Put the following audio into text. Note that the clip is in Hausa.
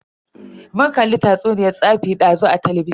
Mun kalli tatsuniyan tsafi dazu a talabijin.